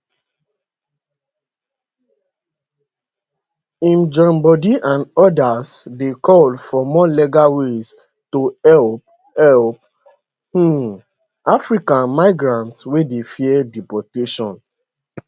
im joinbodi and odas dey call for more legal ways to help help um african migrants wey dey fear deportation